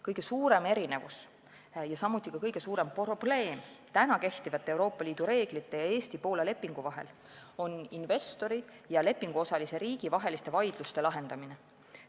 Kõige suurem erinevus kehtivate Euroopa Liidu reeglite ning Eesti ja Poola lepingu vahel ning samuti kõige suurem probleem on investori ja lepinguosalise riigi vaidluste lahendamine.